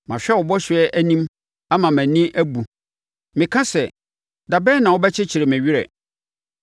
Mahwɛ wo bɔhyɛ anim ama mʼani abu; meka sɛ, “Da bɛn na wobɛkyekyere me werɛ?”